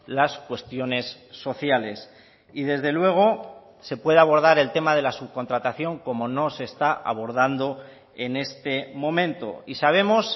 las cuestiones sociales y desde luego se puede abordar el tema de la subcontratación como no se está abordando en este momento y sabemos